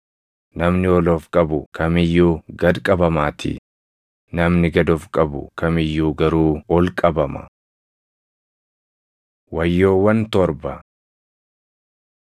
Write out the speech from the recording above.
Namni ol of qabu kam iyyuu gad qabamaatii; namni gad of qabu kam iyyuu garuu ol qabama. Wayyoowwan Torba